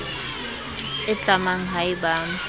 e tlamang ha e ba